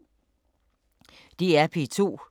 DR P2